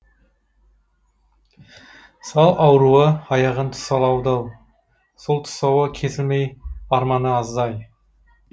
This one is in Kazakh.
сал ауруы аяғын тұсаулады ау сол тұсауы кесілмей арманы азды ай